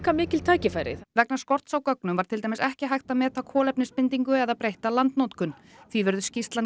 mikil tækifæri vegna skorts á gögnum var til dæmis ekki hægt að meta kolefnisbindingu eða breytta landnotkun því verður skýrslan